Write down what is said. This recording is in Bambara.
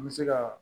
An bɛ se ka